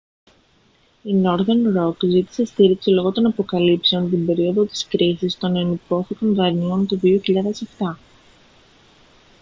η northern rock ζήτησε στήριξη λόγω των αποκαλύψεων την περίοδο της κρίσης των ενυπόθηκων δανείων του 2007